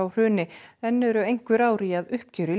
hruni enn eru einhver ár í að uppgjöri